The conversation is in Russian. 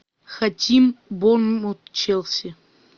хотим борнмут челси